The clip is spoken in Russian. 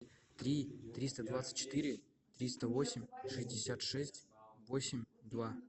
три триста двадцать четыре триста восемь шестьдесят шесть восемь два